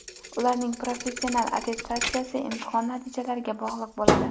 Ularning professional attestatsiyasi imtihon natijalariga bog‘liq bo‘ladi.